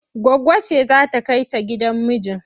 Goggo ce za ta kai ta gidan mijin?